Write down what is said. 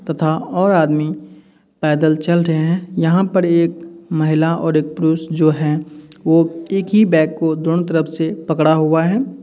तथा और आदमी पैदल चल रहे हैं। यहाँ पर एक महिला और एक पुरुष जो हैं। वो एक ही बैग को दोनों तरफ से पकड़ हुआ है।